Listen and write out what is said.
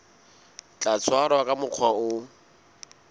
tla tshwarwa ka mokgwa o